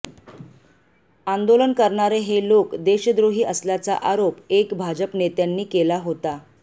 आंदोलन करणारे हे लोक देशद्रोही असल्याचा आरोप अेक भाजप नेत्यांनी केला होता